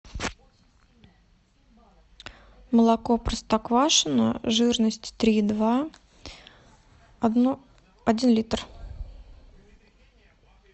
молоко простоквашино жирность три и два один литр